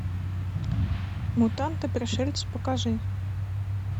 мутанты пришельцы покажи